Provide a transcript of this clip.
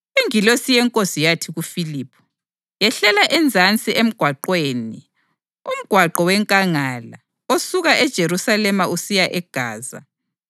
Ingilosi yeNkosi yathi kuFiliphu, “Yehlela ezansi emgwaqweni, umgwaqo wenkangala, osuka eJerusalema usiya eGaza.”